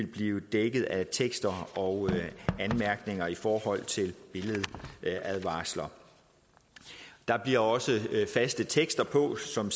blive dækket af tekster og anmærkninger i forhold til billedadvarsler der bliver også faste tekster på som